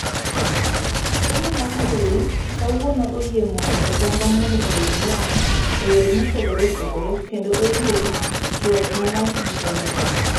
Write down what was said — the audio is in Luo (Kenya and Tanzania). somo mar mbui kawuono oyie mondo oganda mondo oyud lony eyore mopogre opogre kendo oyie tuak malach gi oganda.